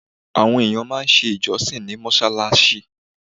Àwọn èèyàn máa ṣe ìjọsìn ní mọ́ṣáláṣí.